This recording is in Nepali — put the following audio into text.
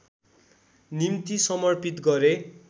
निम्ति समर्पित गरे